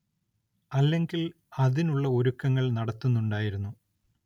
അല്ലെങ്കിൽ അതിനുള്ള ഒരുക്കുങ്ങൾ നടത്തുന്നുണ്ടായിരുന്നു.